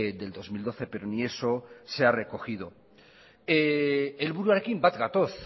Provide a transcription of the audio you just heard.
del dos mil doce pero ni eso se ha recogido helburuarekin bat gatoz